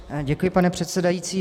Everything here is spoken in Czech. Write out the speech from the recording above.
Děkuji, pane předsedající.